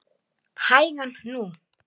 Þitt örverpi Óskar.